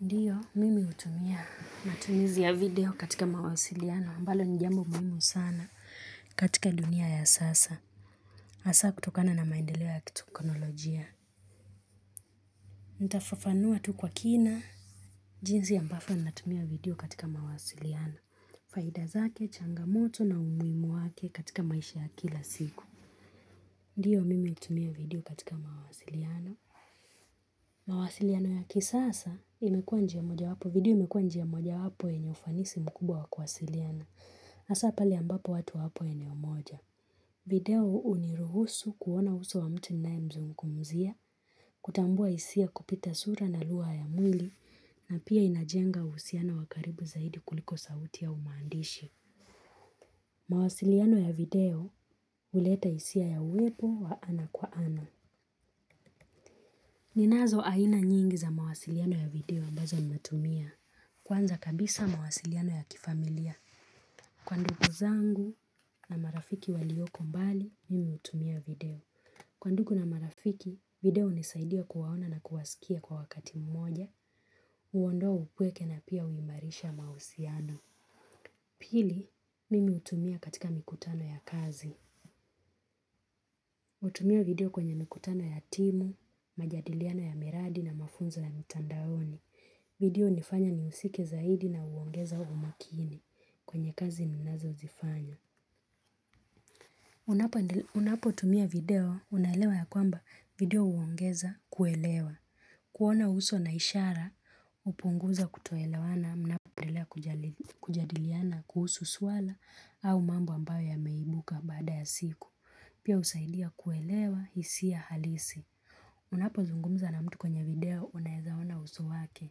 Ndiyo, mimi hutumia matumizi ya video katika mawasiliano, ambalo ni jambo muhimu sana katika dunia ya sasa. Asa kutokana na maendeleo ya kitokonolojia. Nitafafanua tu kwa kina. Jinzi ambafo ninatumia video katika mawasiliano. Faida zake, changamoto na umuimu wake katika maisha ya kila siku. Ndiyo, mimi utumia video katika mawasiliano. Mawasiliano ya kisasa, imekuwa njia moja wapo. Video imekuwa njia moja wapo wenye ufanisi mkubwa wa kuwasiliana hasa pale ambapo watu hawapo eneo moja. Video huu uniruhusu kuona uso wa mtu ninae mzungumuzia kutambua isia kupita sura na lugha ya mwili na pia inajenga usiano wa karibu zaidi kuliko sauti au maandishi. Mawasiliano ya video uleta isia ya uwepo wa ana kwa ana. Ninazo aina nyingi za mawasiliano ya video ambazo natumia kwanza kabisa mawasiliano ya kifamilia kwa ndugu zangu na marafiki walioko mbali, mimi hutumia video. Kwa nduku na marafiki, video hunisaidia kuwaona na kuwasikia kwa wakati mmoja, uondoa upweke na pia huimarisha mausiano. Pili, mimi utumia katika mikutano ya kazi. Utumia video kwenye nikutano ya timu, majadiliano ya miradi na mafunzo ya mitandaoni. Video unifanya niusike zaidi na uongeza umakini kwenye kazi ninazo zifanya. Unapo endel unapo tumia video, unaelewa ya kwamba video uongeza kuelewa, kuona uso na ishara, upunguza kutoelewana, mnapo endelea kujadiliana, kuhusu swala, au mambo ambayo yameibuka baada ya siku. Pia usaidia kuelewa hisia halisi. Unapo zungumza na mtu kwenye video, unaezaona uso wake.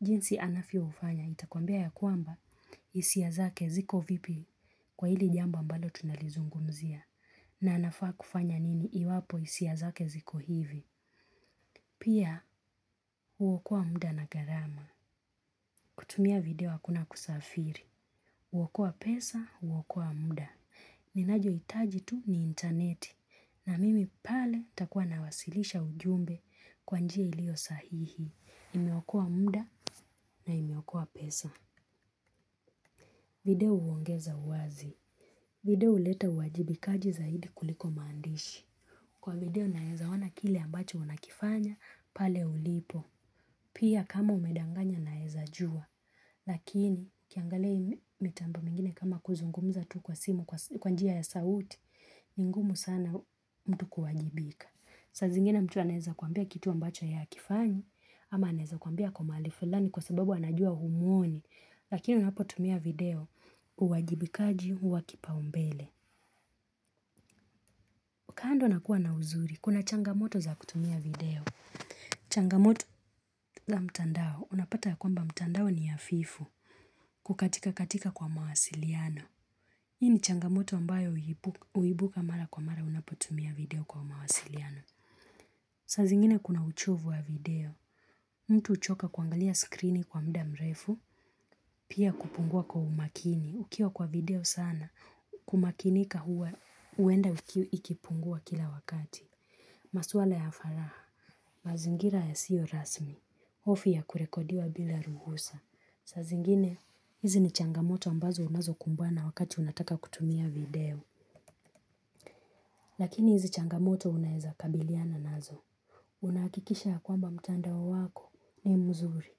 Jinsi anafyo ufanya itakwambia ya kwamba hisia zake ziko vipi kwa hili jambo mbalo tunalizungumzia na anafaa kufanya nini iwapo isia zake ziko hivi. Pia uokoa muda na garama. Kutumia video akuna kusafiri. Uokuwa pesa, uokuwa muda. Ninajo itaji tu ni interneti na mimi pale takuwa nawasilisha ujumbe kwa njia ilio sahihi. Imeokoa mda na imeokoa pesa. Video uongeza uwazi. Video uleta uwajibikaji zaidi kuliko maandishi. Kwa video naeza wana kile ambacho unakifanya pale ulipo. Pia kama umedanganya naeza jua. Lakini kiangalia mitambo mingine kama kuzungumuza tu kwa simu kwa njia ya sauti ni ngumu sana mtu kuwajibika. Saa zingine mtu aneza kuambia kitu ambacho ye akifanyi ama anaeza kuambia ako maali fulani kwa sababu anajua humuoni lakini unapotumia video uwajibikaji huwa kipaumbele. Kando na kua na uzuri, kuna changamoto za kutumia video. Changamoto za mtandao, unapata ya kwamba mtandao ni afifu kukatika katika kwa mawasiliano. Hii ni changamoto ambayo uibuka mara kwa mara unapotumia video kwa mawasiliano. Saa zingine kuna uchovu wa video. Mtu uchoka kuangalia skrini kwa mda mrefu, pia kupungua kwa umakini. Ukiwa kwa video sana, kumakinika huwa, uenda ikipungua kila wakati. Masuala ya faraha. Mazingira ya siyo rasmi. Hofu ya kurekodiwa bila ruhusa. Saa zingine, hizi ni changamoto ambazo unazo kumbana wakati unataka kutumia video. Lakini hizi changamoto unaeza kabiliana nazo. Unaakikisha ya kwamba mtandao wako ni mzuri.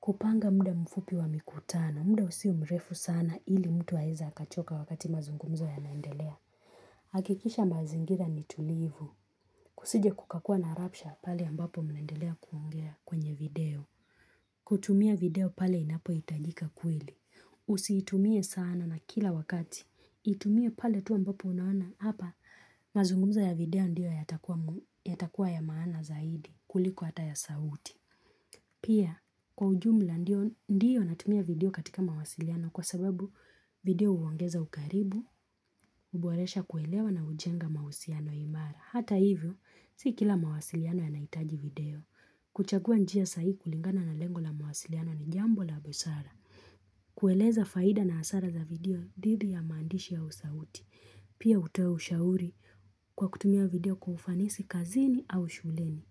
Kupanga mda mfupi wa mikutana, mda usiwe mrefu sana ili mtu haeza akachoka wakati mazungumzo yanaendelea hakikisha mazingira ni tulivu. Kusije kukakua na rapsha pale ambapo mnaendelea kuongea kwenye video kutumia video pale inapo itajika kweli. Usitumie sana na kila wakati. Itumie pale tu ambapo unawana. Hapa mazungumzo ya video ndio ya takua ya maana zaidi kuliko hata ya sauti. Pia kwa ujumla ndiyo natumia video katika mawasiliano kwa sababu video uongeza ukaribu, uboresha kuelewa na ujenga mausiano imara. Hata hivyo si kila mawasiliano yanaitaji video. Kuchagua njia sai kulingana na lengo la mawasiliano ni jambo la busara. Kueleza faida na hasara za video didhi ya maandishi au sauti. Pia utoe ushauri kwa kutumia video kwa ufanisi kazini au shuleni.